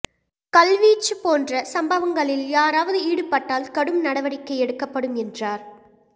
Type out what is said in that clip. கல்வீச்சு போன்ற சம்பவங்களில் யாராவது ஈடுபட்டால் கடும் நடவடிக்கை எடுக்கப்படும் என்றாா்